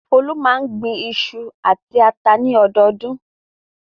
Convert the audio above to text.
Folú máa ń gbin iṣu àti ata lọ́dọọdún.